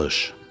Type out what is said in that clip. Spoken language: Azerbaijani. Talış.